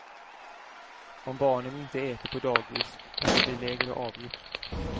Om barnen inte äter på dagis kan det bli lägre avgift.